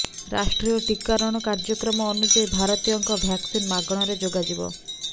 ରାଷ୍ଟ୍ରୀୟ ଟୀକାରଣ କାର୍ଯ୍ୟକ୍ରମ ଅନୁଯାୟୀ ଭାରତୀୟଙ୍କ ଭ୍ୟାକସିନ୍ ମାଗଣାରେ ଯୋଗାଯିବ